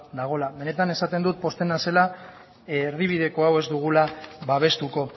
dagoela benetan esaten dut pozten naizela erdibideko hau ez dugula babestuko